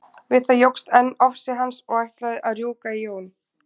Við það jókst enn ofsi hans og ætlaði að rjúka í Jón.